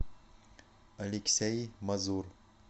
алексей мазур